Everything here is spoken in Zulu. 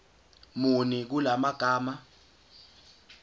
muni kula magama